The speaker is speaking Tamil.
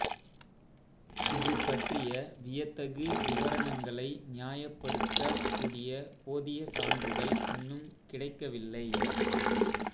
இது பற்றிய வியத்தகு விவரணங்களை நியாயப்படுத்தக் கூடிய போதிய சான்றுகள் இன்னும் கிடைக்கவில்லை